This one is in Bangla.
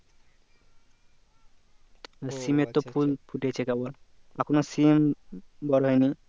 সিম এর তো ফুল ফুটেছে কেবল এখনো সিম বড়ো হয়নি